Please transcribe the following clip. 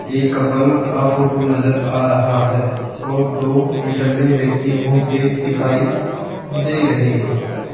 एक कपल का फोटो नजर आ रहा है और दो निठल्ले व्यक्ति घुमते दिखाइ दे रहे हैं।